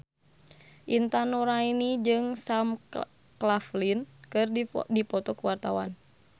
Intan Nuraini jeung Sam Claflin keur dipoto ku wartawan